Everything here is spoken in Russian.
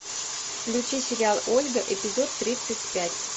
включи сериал ольга эпизод тридцать пять